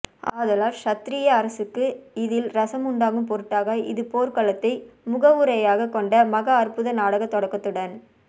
ஆதலால் க்ஷத்திரிய அரசருக்கு இதில் ரஸம் உண்டாகும் பொருட்டாக இது போர்க்களத்தை முகவுரையாகக் கொண்ட மகா அற்புத நாடகத் தொடக்கத்துடன்